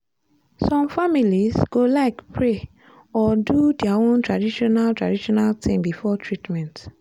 some families go like pray or do their own traditional traditional thing before treatment.